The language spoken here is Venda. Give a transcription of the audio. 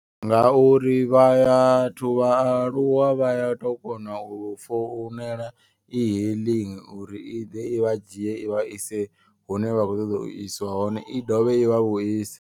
Nga uri vha ya thu vhaaluwa vha ya tou kona u founela i hailing. Uri i ḓe i vha dzhie ivha ise hune vha kho ṱoḓa u isiwa hone i dovhe i vha vhu ise.